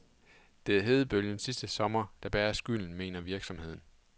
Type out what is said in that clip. Det er hedebølgen sidste sommer, der bærer skylden, mener virksomheden.